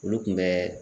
Olu kun bɛ